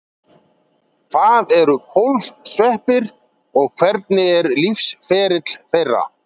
Hvað eru kólfsveppir og hvernig er lífsferill þeirra?